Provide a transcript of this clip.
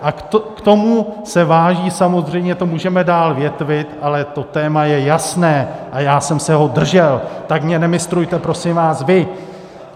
A k tomu se vážou - samozřejmě to můžeme dál větvit, ale to téma je jasné a já jsem se ho držel, tak mě nemistrujte, prosím vás, vy!